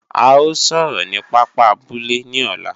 A ó sọ̀rọ̀ ni pápá abúlé ní ọ̀la